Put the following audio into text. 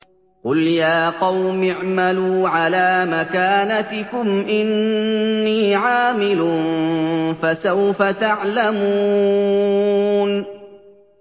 قُلْ يَا قَوْمِ اعْمَلُوا عَلَىٰ مَكَانَتِكُمْ إِنِّي عَامِلٌ ۖ فَسَوْفَ تَعْلَمُونَ